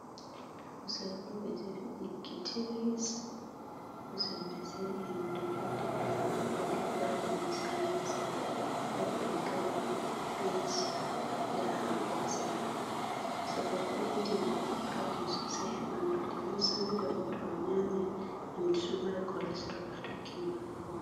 Kusel on ɓe defi ɗiggi tilis. Kusel mai, sai iye mai ɗo jooɗi be maarori nda lemun tsami haa sera. Ɓe waɗi be grinbins, nda haako haa sera. Kusel ɗo bo, ɗo ɓeddina goɗɗo proten sosai haa ɓandu. Lemun tsami ɗo bo, to a nƴaami, nƴamdu to ɗo mari colastoral a tokkini wala ko watta.